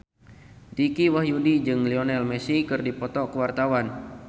Dicky Wahyudi jeung Lionel Messi keur dipoto ku wartawan